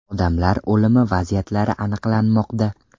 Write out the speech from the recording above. Odamlar o‘limi vaziyatlari aniqlanmoqda.